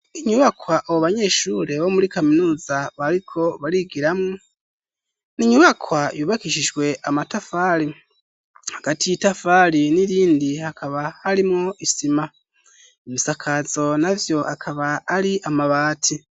Inyubakwa abo banyeshure bo muri kaminuza bariko barigiramwo, n'inyubakwa yubakishijwe amatafari hagati yitafari n'irindi hakaba harimwo isima ibisakazo navyo akaba ari amabati.